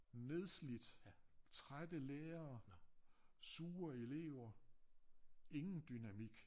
Nedslidt trætte lærere sure elever ingen dynamik